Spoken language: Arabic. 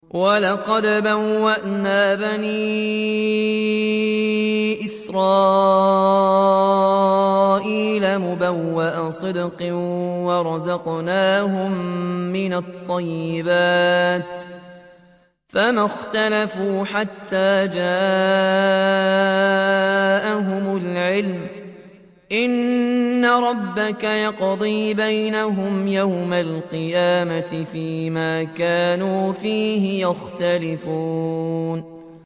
وَلَقَدْ بَوَّأْنَا بَنِي إِسْرَائِيلَ مُبَوَّأَ صِدْقٍ وَرَزَقْنَاهُم مِّنَ الطَّيِّبَاتِ فَمَا اخْتَلَفُوا حَتَّىٰ جَاءَهُمُ الْعِلْمُ ۚ إِنَّ رَبَّكَ يَقْضِي بَيْنَهُمْ يَوْمَ الْقِيَامَةِ فِيمَا كَانُوا فِيهِ يَخْتَلِفُونَ